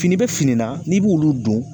Fini bɛ fini na n'i bɛ olu don